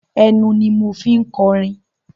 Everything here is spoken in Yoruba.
Ẹnu ni mo fi ń kọrin.